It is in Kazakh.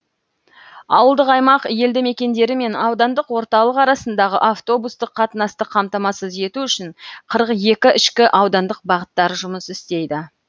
ауылдық аймақ елді мекендері мен аудандық орталық арасындағы автобустық қатынасты қамтамасыз ету үшін қырық екі ішкі аудандық бағыттар жұмыс істейді